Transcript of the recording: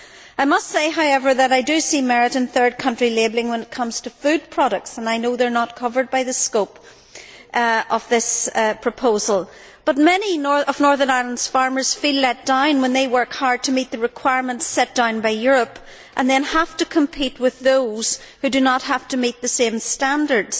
I must say, however, that I do see merit in third country labelling when it comes to food products. I know they are not covered by the scope of this proposal, but many of Northern Ireland's farmers feel let down when they work hard to meet the requirements laid down by Europe, and then have to compete with those who do not have to meet the same standards.